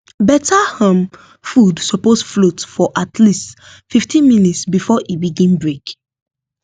better um food suppose float for at least fifteen minutes before e begin break